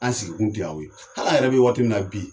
An sigikun tɛ yan o ye ,hal'an yɛrɛ bɛ waati min na bi,